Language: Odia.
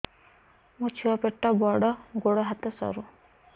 ମୋ ଛୁଆ ପେଟ ବଡ଼ ଗୋଡ଼ ହାତ ସରୁ